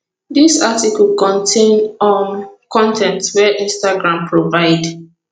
dis article contain um con ten t wey instagram provide